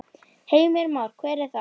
Heimir Már: Hver er það?